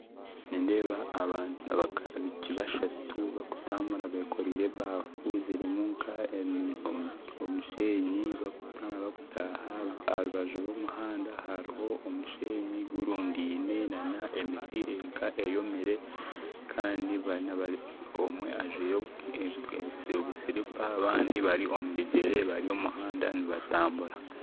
Nindeeba abaishiiki bashatu barikutambura bekoreire ebaafu zirimu nka omushenyi bakutaaha aharubaju rw'omuhanda hariho omushenyi gurundaine na n'emiti erinka eyomire kandi omwe ajwire obusiripa abandi bari omu bigyere bari omu muhanda nibatambura